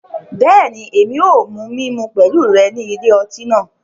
Bẹẹni, Èmí o mu mímú pẹlu rẹ ni ilé ọti náà